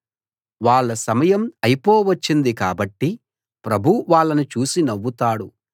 వాళ్ళ సమయం అయిపోవచ్చింది కాబట్టి ప్రభువు వాళ్ళను చూసి నవ్వుతాడు